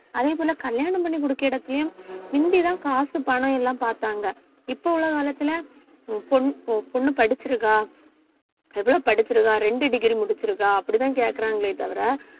அதே போல கல்யாணம் பண்ணி குடுக்க இடத்தையும் முந்திதான் காசு பணம் எல்லாம் பாத்தாங்க இப்ப உள்ள உள்ள காலத்துல உன் பொண்~ உன் பொண்ணு படிச்சிருக்கா எவ்வளவு படிச்சிருக்கா ரெண்டு degree முடிச்சிருக்கா அப்படித்தான் கேட்கிறாங்களே தவிர